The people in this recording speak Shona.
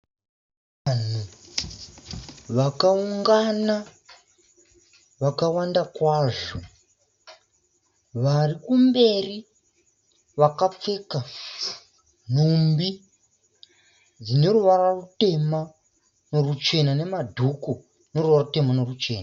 Vanhu vakaungana vakawanda kwazvo, vari kumberi vakapfeka nhumbi dzine ruvara rutema neruchena nemadhuku ane ruvara rutema neruchena.